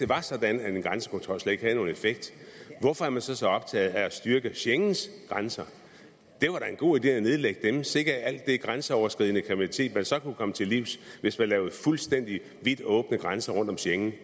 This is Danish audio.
var sådan at en grænsekontrol slet ikke havde nogen effekt hvorfor er man så så optaget af at styrke schengens grænser det var da en god idé at nedlægge dem sikke alt det grænseoverskridende kriminalitet man så kunne komme til livs hvis man lavede fuldstændig vidt åbne grænser rundt om schengen